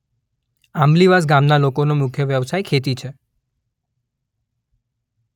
આંબલીવાસ ગામના લોકોનો મુખ્ય વ્યવસાય ખેતી છે.